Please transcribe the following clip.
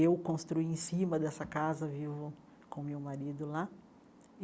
Eu construí em cima dessa casa, vivo com meu marido lá.